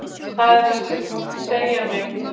Það er að segja mig.